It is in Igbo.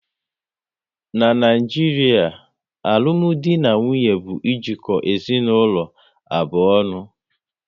N'Naijiria, alụmdi na nwunye bụ ejiko ezinaụlọ abụọ ọnụ